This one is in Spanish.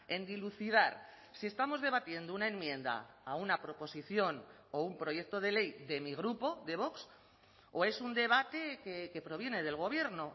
en dilucidar si estamos debatiendo una enmienda a una proposición o un proyecto de ley de mi grupo de vox o es un debate que proviene del gobierno